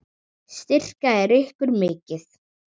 Styrkja þeir ykkur mikið?